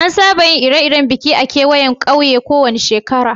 An saba yin Ire-iren biki a'kawayan kauyen ko wani sheƙara.